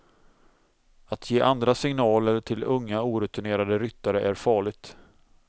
Att ge andra signaler till unga orutinerade ryttare är farligt.